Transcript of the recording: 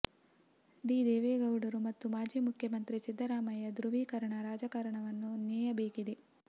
D ದೇವೇಗೌಡರು ಮತ್ತು ಮಾಜಿ ಮುಖ್ಯಮಂತ್ರಿ ಸಿದ್ದರಾಮಯ್ಯ ಧ್ರುವೀಕರಣ ರಾಜಕಾರಣವನ್ನು ನೇಯಬೇಕಿದೆ